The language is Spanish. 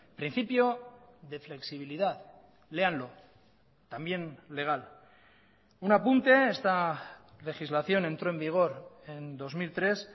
principio de flexibilidad léanlo también legal un apunte esta legislación entró en vigor en dos mil tres